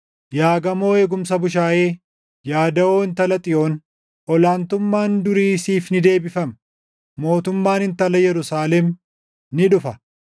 Yaa gamoo eegumsa bushaayee, yaa daʼoo Intala Xiyoon, ol aantummaan durii siif ni deebifama; mootummaan Intala Yerusaalem ni dhufa.”